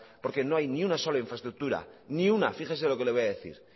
porque no hay ni una sola infraestructura ni una fíjese lo que le voy a decir